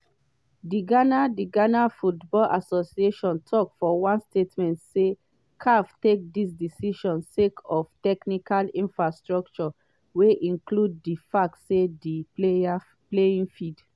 dighana dighana football associationtok for one statement say caf take dis decision sake of “technical infractions wey include di fact say di playing field